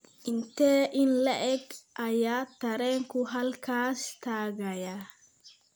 intee in le'eg ayaa tareenku halkaas tagayaa